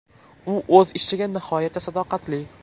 U o‘z ishiga nihoyatda sadoqatli.